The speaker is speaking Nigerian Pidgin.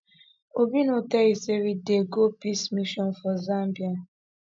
obi no tell you say we dey go peace mission for zambia